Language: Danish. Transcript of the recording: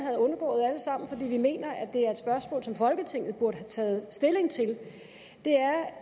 sammen fordi vi mener at det er et spørgsmål som folketinget burde have taget stilling til er